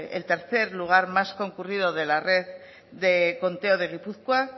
el tercer lugar más concurrido de la red de conteo de gipuzkoa